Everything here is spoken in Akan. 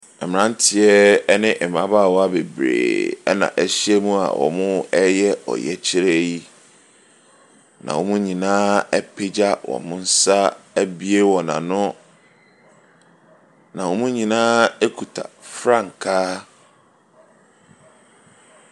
Mmranteɛ ne mmabaawa bebree na ahyiam reyɛ ɔyɛkyerɛ yi. Na wɔn nyinaa apegya wɔ nsa abue wɔn ano. Na wɔn nyinaa kuta frankaa.